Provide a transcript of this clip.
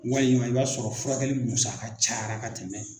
Walima i b'a sɔrɔ furakɛli musaka caya ka tɛmɛ.